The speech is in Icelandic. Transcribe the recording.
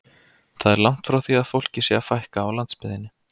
Það er því langt frá því að fólki sé að fækka á landsbyggðinni.